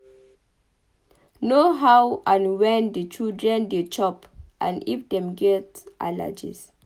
Know how and when di children dey chop and if dem get allergies